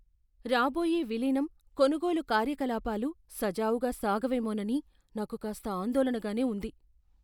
రాబోయే విలీనం, కొనుగోలు కార్యకలాపాలు సజావుగా సాగవేమోనని నాకు కాస్త ఆందోళనగానే ఉంది.